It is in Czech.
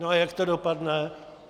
No a jak to dopadne?